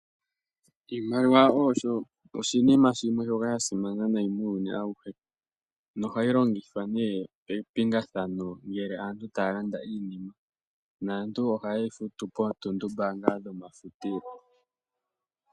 Iimaliwa osho oshinima shimwe shoka sha simana nayi muuyuni awuhe nohayi longithwa nee mepingathano ngele aantu taya landa iinima. Naantu oha yeyi futu po otundubanga dhoma futilo.